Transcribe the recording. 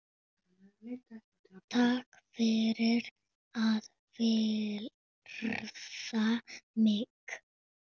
Takk fyrir að virða mig.